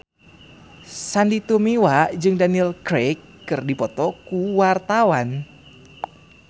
Sandy Tumiwa jeung Daniel Craig keur dipoto ku wartawan